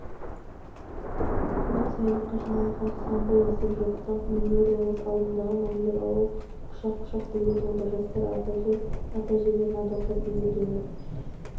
бүгін саябаққа жиналған халық санында есеп жоқ даңқ мемориалының алдындағы мәңгілік алау құшақ-құшақ гүлге толды жастар ардагер ата-әжелерін ардақтап бейбіт өмір